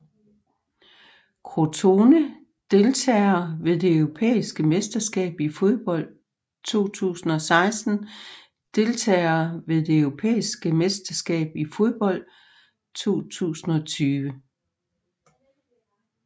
Crotone Deltagere ved det europæiske mesterskab i fodbold 2016 Deltagere ved det europæiske mesterskab i fodbold 2020